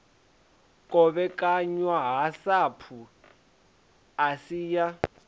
kovhekanywa ha sapu asi ya